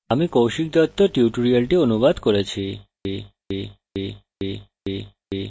আমি কৌশিক দত্ত এই tutorialটি অনুবাদ করেছি এতে অংশগ্রহনের জন্য ধন্যবাদ